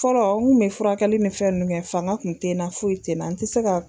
Fɔlɔ n kun bɛ furakɛli ni fɛn ninnu kɛ fanga kun tɛ n na foyi tɛ na.